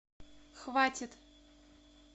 хватит